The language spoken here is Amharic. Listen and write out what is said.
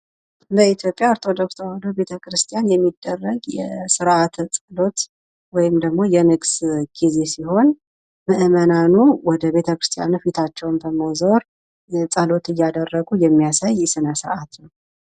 በኢትዮጵያ ኦርቶዶክስ ቤተ-ክርስቲያን የሚደረግ ስርዓተ ጸሎት ወይም ደግሞ የንግስ ጊዜ ሲሆን መእመናኑ ወደ ቤተ-ክርስቲያኑ ፊታቸውን በመዞር ጸሎት እያደረጉ የሚያሳይ ስነ-ስራአት ነው: